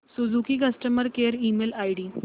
Suzuki customer care email ID